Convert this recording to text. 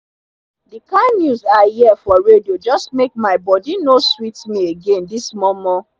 dey kain news i hear for radio jus make my bodi nor sweet mi again this momo